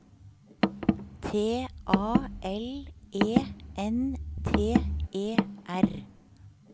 T A L E N T E R